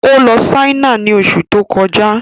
Ó lọ Ṣáínà ni oṣù tó kọjá